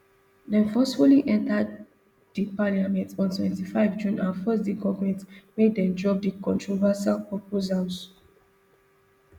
dem forcefully enta di parliament on twenty-five june and force di government make dem drop di controversial proposals